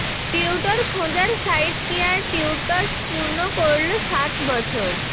tutor খোঁজার site care tutors পূর্ণ করলো সাত বছর